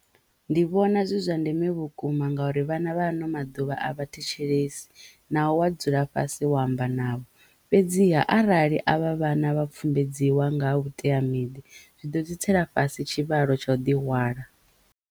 Ndi vhona zwi zwa ndeme vhukuma ngauri vhana vha ano maḓuvha a vha thetshelesi naho wa dzula fhasi wa amba navho fhedziha arali a vha vhana vha pfumbedziwa nga ha vhuteamiṱa zwi ḓo dzi tsela fhasi tshivhalo tsha o ḓi hwala.